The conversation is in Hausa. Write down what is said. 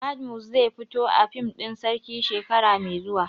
Badmus zai zai fito a fim ɗin Sarki shekara mai zuwa